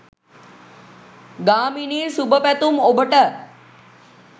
ගාමිණි සුභ පැතුම් ඔබට!